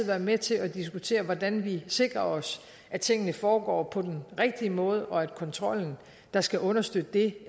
være med til at diskutere hvordan vi sikrer os at tingene foregår på den rigtige måde og at kontrollen der skal understøtte det